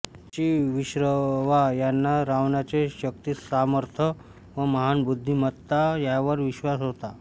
ऋषी विश्रवा याना रावणाचे शक्तिसामर्थ व महान बुद्धिमत्ता ह्यावर विश्वास होता